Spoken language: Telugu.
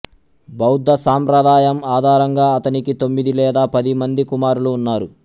బౌద్ధ సంప్రదాయం ఆధారంగా అతనికి తొమ్మిది లేదా పది మంది కుమారులు ఉన్నారు